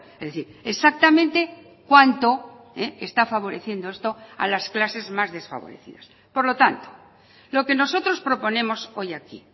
es decir exactamente cuánto está favoreciendo esto a las clases más desfavorecidas por lo tanto lo que nosotros proponemos hoy aquí